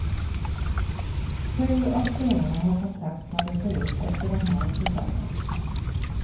Sju av spelarna har kontrakt som löper ut efter den här säsongen.